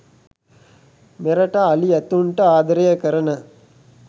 මෙරට අලි ඇතුන්ට ආදරය කරන